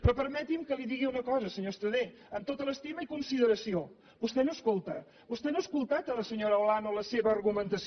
però permeti’m que li digui una cosa senyor estradé amb tota l’estima i consideració vostè no escolta vostè no ha escoltat la senyora olano la seva argumentació